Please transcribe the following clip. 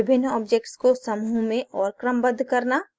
विभिन्न objects को समूह में और क्रमबद्ध करना